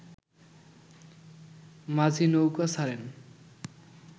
মাঝি নৌকা ছাড়েন